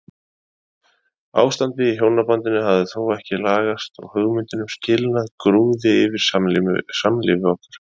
Ástandið í hjónabandinu hafði þó ekki lagast og hugmyndin um skilnað grúfði yfir samlífi okkar.